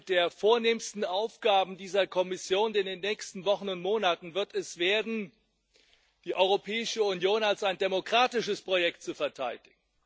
Eine der vornehmsten Aufgaben dieser Kommission in den nächsten Wochen und Monaten wird es werden, die Europäische Union als ein demokratisches Projekt zu verteidigen.